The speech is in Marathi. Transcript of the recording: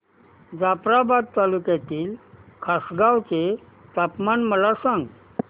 जाफ्राबाद तालुक्यातील खासगांव चे तापमान मला सांग